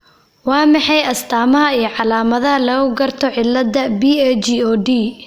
Waa maxay astaamaha iyo calaamadaha lagu garto cillada PAGOD?